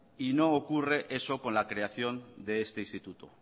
y no ocurre eso con la creación de ese instituto